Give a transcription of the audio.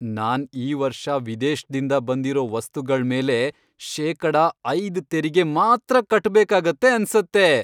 ನಾನ್ ಈ ವರ್ಷ ವಿದೇಶ್ದಿಂದ ಬಂದಿರೋ ವಸ್ತುಗಳ್ ಮೇಲೆ ಶೇಕಡ ಐದ್ ತೆರಿಗೆ ಮಾತ್ರ ಕಟ್ಬೇಕಾಗತ್ತೆ ಅನ್ಸತ್ತೆ.